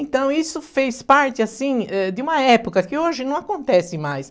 Então isso fez parte, assim, eh, de uma época que hoje não acontece mais.